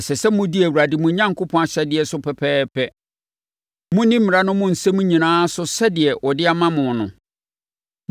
Ɛsɛ sɛ modi Awurade mo Onyankopɔn ahyɛdeɛ so pɛpɛɛpɛ—monni mmara no mu nsɛm nyinaa so sɛdeɛ ɔde ama mo no.